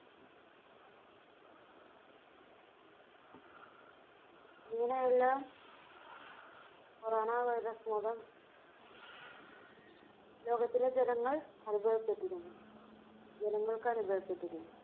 ഇങ്ങനെയുള്ള Corona Virus മൂലം ലോകത്തിലെ ജനങ്ങൾ അനുഭവപ്പെട്ടിരുന്നു ജനങ്ങൾക്ക് അനുഭവപ്പെട്ടിരുന്നു.